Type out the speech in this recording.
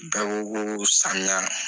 Bɛɛ ko ko samiya